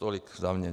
Tolik za mě.